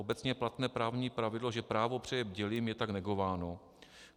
Obecně platné právní pravidlo, že právo přeje bdělým, je tak negováno.